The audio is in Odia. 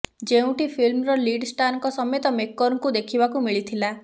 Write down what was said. ଯେଉଁଠି ଫିଲ୍ମର ଲିଡ୍ ଷ୍ଟାରଙ୍କ ସମେତ ମେକରଙ୍କୁ ଦେଖିବାକୁ ମିଳିଥିଲା